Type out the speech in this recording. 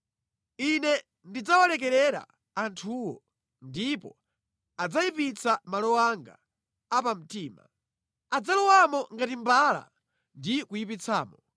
Ine ndidzawalekerera anthuwo ndipo adzayipitsa malo anga apamtima. Adzalowamo ngati mbala ndi kuyipitsamo.